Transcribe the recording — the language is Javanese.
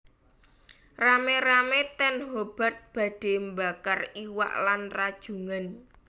Rame rame ten Hobart badhe mbakar iwak lan rajungan